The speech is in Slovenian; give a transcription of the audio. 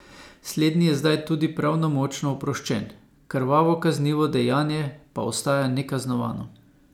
Slednji je zdaj tudi pravnomočno oproščen, krvavo kaznivo dejanje pa ostaja nekaznovano.